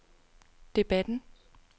debatten